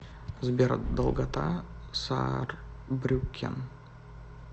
сбер долгота саарбрюккен